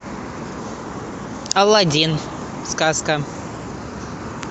алладин сказка